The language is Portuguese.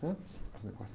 né? Uns negócios...